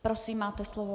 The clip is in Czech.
Prosím, máte slovo.